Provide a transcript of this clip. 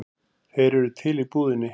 Þeir eru til í búðinni.